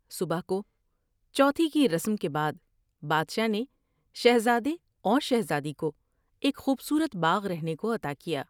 صبح کو چوتھی کی رسم کے بعد بادشاہ نے شہزادے اور شہزادی کو ایک خوب صورت باغ رہنے کو عطا کیا ۔